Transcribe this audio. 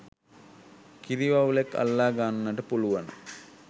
කිරි වවුලෙක් අල්ලා ගන්නට පුළුවන